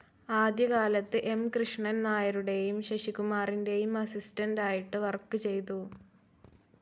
ആദ്യ കാലത്ത് എം കൃഷ്ണൻ നായരുടേയും ശശികുമാറിന്റേയും അസിസ്റ്റന്റ്‌ ആയിട്ട് വർക്ക്‌ ചെയ്തു.